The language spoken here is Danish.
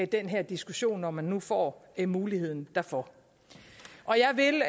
den her diskussion når man nu får muligheden derfor